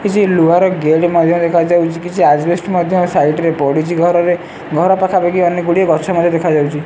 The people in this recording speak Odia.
କିଛି ଲୁହାର ଗେଟ୍ ମଧ୍ୟ ଦେଖାଯାଉଚି। କିଛି ଆଜିବେଷ୍ଟ ମଧ୍ୟ ସାଇଟ୍ ରେ ପଡ଼ିଚି ଘରରେ। ଘର ପାଖାପାଖି ଅନେକ ଗୁଡ଼ିଏ ଗଛ ମଧ୍ୟ ଦେଖାଯାଉଚି।